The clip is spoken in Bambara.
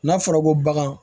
N'a fɔra ko bagan